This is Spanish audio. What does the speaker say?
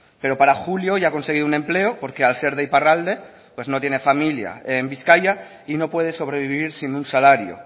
pero para julio ya ha conseguido un empleo porque al ser de iparralde no tiene familia en bizkaia y no puede sobrevivir sin un salario